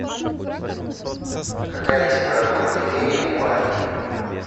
какая температура кипения у барий